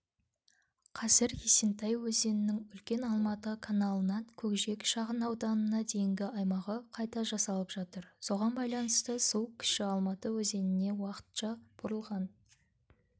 қазір есентай өзенінің үлкен алматы каналынан көкжиек шағынауданына дейінгі аймағы қайта жасалып жатыр соған байланысты су кіші алматы өзеніне уақытша бұрылған